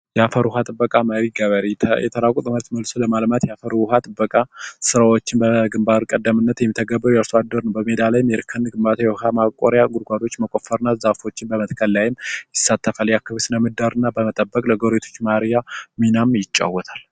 የአፈር ውሃ ጥበቃ የአፈር ውሃ ጥበቃ ስራዎች በግንባር ቀደምት የሚተገበሩ የአርሶአደሮች የእርከን ወይም የውሃ ማቆሪያ ጉድጓዶች መቆፈርና ዛፎችን በመትከል ላይም ይሳተፋል የአካባቢው ስነ ምህዳርና ከፍተኛ ሚና ይጫወታል።